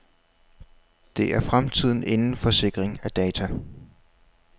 Det er fremtiden inden for sikring af data.